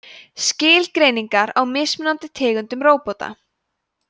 skilgreiningar á mismunandi tegundum róbóta